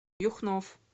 юхнов